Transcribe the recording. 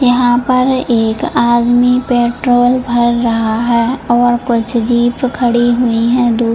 यहाँ पर एक आदमी पेट्रोल भर रहा है और कुछ जीप खड़ी हुई है।